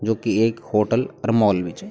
जो की एक होटल और मॉल भी च।